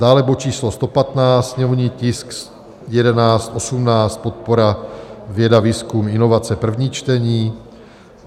Dále bod číslo 115, sněmovní tisk 1118, podpora věda, výzkum, inovace, první čtení.